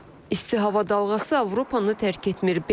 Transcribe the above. İsti hava dalğası Avropanı tərk etmir.